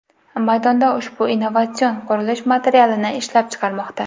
maydonda ushbu innovatsion qurilish materialini ishlab chiqarmoqda.